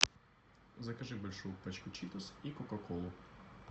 закажи большую пачку читос и кока колу